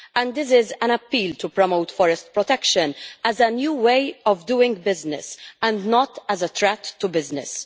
This is an appeal to promote forest protection as a new way of doing business and not as a threat to business.